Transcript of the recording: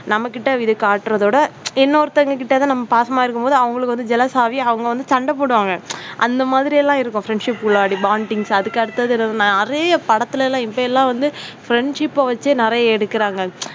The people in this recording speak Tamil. நம்ம கிட்ட இது காட்டுறதோட இன்னொருத்தவங்க கிட்ட தான் பாசமா இருக்கும்போது, அவங்களுக்கு வந்து jealous ஆகி அவங்க வந்து சண்டை போடுவாங்க அந்த மாதிரி எல்லாம் இருக்கும். friendship உள்ளாடி bondings அதற்கு அடுத்தது என்னன்னா நிறைய படத்துல எல்லாம் இப்ப எல்லாம் வந்து friendship பை வைத்து நிறைய எடுக்குறாங்க.